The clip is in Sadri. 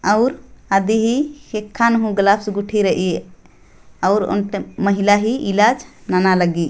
आउर आदि ही खेखा नु गलब्स गुठी रई आऊ ओंटे महिला ही इलाज नाना लग्गी